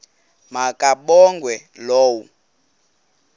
ma kabongwe low